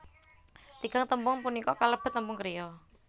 Tigang tembung punika kalebet tembung kriya